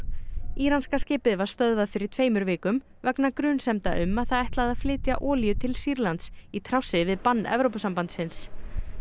íranska skipið var stöðvað fyrir tveimur vikum vegna grunsemda um að það ætlaði að flytja olíu til Sýrlands í trássi við bann Evrópusambandsins